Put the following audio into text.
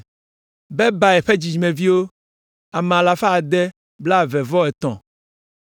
Bebai ƒe dzidzimeviwo, ame alafa ade blaeve-vɔ-etɔ̃ (623).